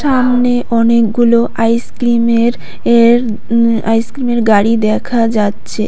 সামনে অনেকগুলো আইসক্রিমের এর আইসক্রিমের গাড়ি দেখা যাচ্ছে।